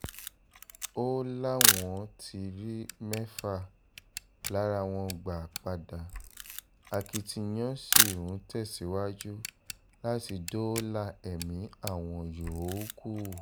ó láwọn ti rí mẹ́fà lára wọn gbà padà akitiyan sí ń tẹ̀síwájú láti dóòlà ẹ̀mí àwọn yòókù